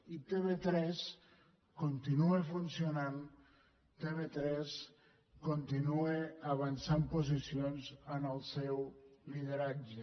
i tv3 continua funcionant tv3 continua avançant posicions en el seu lideratge